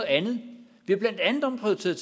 andet vi har blandt andet omprioriteret